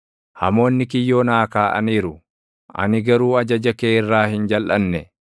Hamoonni kiyyoo naa kaaʼaniiru; ani garuu ajaja kee irraa hin jalʼanne.